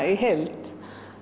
í heild